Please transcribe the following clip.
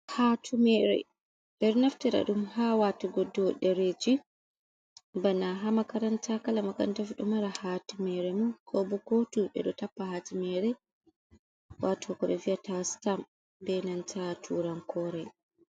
Hatumere, ɓeɗo naftira ɗum ha watugo do ɗereji bana ha makaranta kala makaranta pat ɗomari ɗo mara hatumere mum, kobo kotu. ɓeɗo tappa hatumere wato ko ɓe vi'ata stam benanta turan kore.